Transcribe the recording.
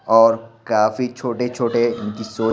और काफी छोटे-छोटे --